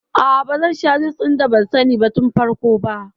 A'a bazan sha jus ɗin da ban sani tun farko ba